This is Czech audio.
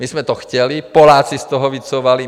My jsme to chtěli, Poláci z toho vycouvali.